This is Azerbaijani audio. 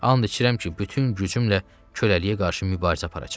And içirəm ki, bütün gücümlə çöləliyə qarşı mübarizə aparacam.